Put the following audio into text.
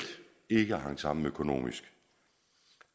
ikke hang sammen økonomisk